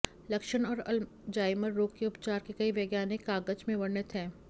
लक्षण और अल्जाइमर रोग के उपचार के कई वैज्ञानिक कागज में वर्णित हैं